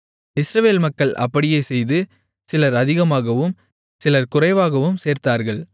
இஸ்ரவேல் மக்கள் அப்படியே செய்து சிலர் அதிகமாகவும் சிலர் குறைவாகவும் சேர்த்தார்கள்